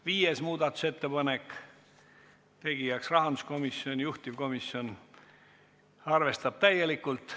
Viies muudatusettepanek – tegijaks rahanduskomisjon ja juhtivkomisjon on arvestanud täielikult.